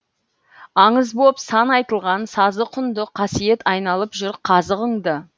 аңыз боп сан айтылған сазы құнды қасиет айналып жүр қазығыңды